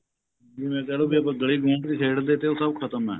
ਜਿਵੇਂ ਕਹਿਲੋ ਵੀ ਆਪਾਂ ਗਲੀ ਖੇਡਦੇ ਤੇ ਉਹ ਸਭ ਖਤਮ ਏ